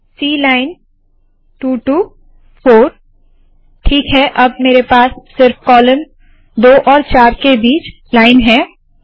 C line 2 to 4 ठीक है अब मेरे पास सिर्फ कॉलम 2 और 4 के बीच लाइन है